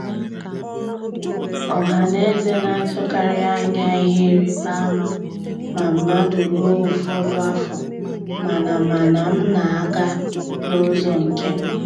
Ọhaneze na-atụkarị anya ihe ịrịbama ma mmadụ ruo ụfọdụ afọ, mana mana m na-aga n'ụzọ nke m.